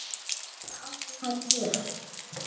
Þetta átti hann til.